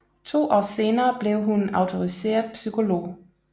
To år senere blev hun autoriseret psykolog